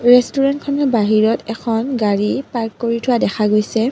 ৰেষ্টোৰেণ্টখনৰ বাহিৰত এখন গাড়ী পাৰ্ক কৰি থোৱা দেখা গৈছে।